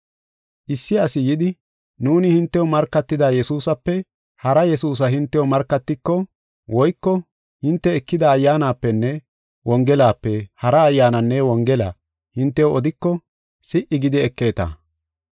Issi asi yidi, nuuni hintew markatida Yesuusape hara Yesuusa hintew markatiko, woyko hinte ekida Ayyaanapenne Wongelape hara ayyaananne Wongela hintew odiko, si77i gidi ekeeta.